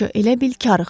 qoca elə bil karıxdı.